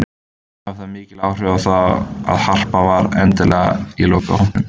Hafði það mikil áhrif á það að Harpa var endanlega í lokahópnum?